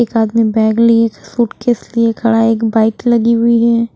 एक आदमी बैग लिए सूटकेस लिए खड़ा एक बाइक लगी हुई है।